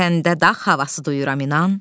Səndə daha havası duyuram inan.